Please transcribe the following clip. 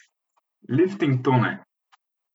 Lifting Tone!